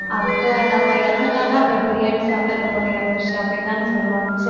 அது நம்ம இறந்துட்டோம்ன்ன அப்ப பிரியாணி சாப்பிட்டு அந்த பொண்ணு இறந்திருச்சு அப்படின்னு தானே சொல்லுவாங்க